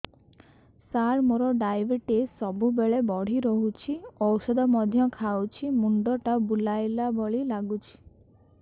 ସାର ମୋର ଡାଏବେଟିସ ସବୁବେଳ ବଢ଼ା ରହୁଛି ଔଷଧ ମଧ୍ୟ ଖାଉଛି ମୁଣ୍ଡ ଟା ବୁଲାଇବା ଭଳି ଲାଗୁଛି